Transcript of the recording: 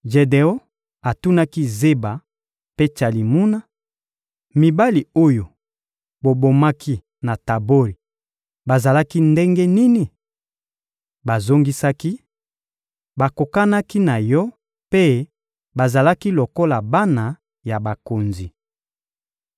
Jedeon atunaki Zeba mpe Tsalimuna: — Mibali oyo bobomaki na Tabori, bazalaki ndenge nini? Bazongisaki: — Bakokanaki na yo mpe bazalaki lokola bana ya bakonzi.